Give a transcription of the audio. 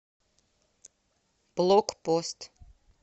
блокпост